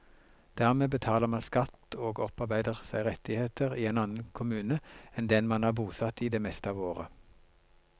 Dermed betaler man skatt og opparbeider seg rettigheter i en annen kommune enn den man er bosatt i det meste av året.